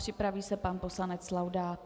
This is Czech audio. Připraví se pan poslanec Laudát.